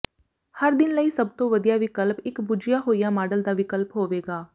ਹਰ ਦਿਨ ਲਈ ਸਭ ਤੋਂ ਵਧੀਆ ਵਿਕਲਪ ਇੱਕ ਬੁੱਝਿਆ ਹੋਇਆ ਮਾਡਲ ਦਾ ਵਿਕਲਪ ਹੋਵੇਗਾ